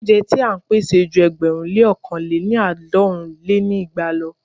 Óúnjẹ ti à ń pèsè ju ẹgbẹ̀rún lé ọ̀kan lé ní àádọ́rùn lé ní igba lọ.